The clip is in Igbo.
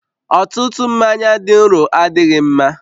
Ọtụtụ mmanya dị nro adịghị mma